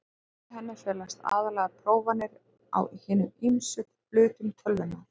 Í henni felast aðallega prófanir á hinum ýmsu hlutum tölvunnar.